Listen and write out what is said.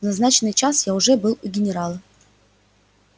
в назначенный час я уже был у генерала